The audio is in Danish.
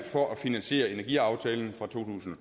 for at finansiere energiaftalen fra to tusind og